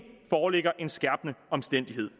foreligger en skærpende omstændighed